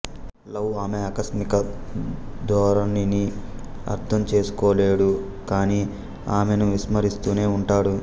love ఆమె ఆకస్మిక ధోరణిని అర్థం చేసుకోలేడు కానీ ఆమెను విస్మరిస్తూనే ఉంటాడు